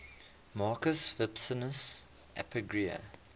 marcus vipsanius agrippa